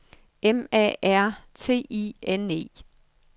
M A R T I N E